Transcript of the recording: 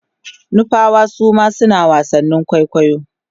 nupawa Suma suna wasannin kwaikwayo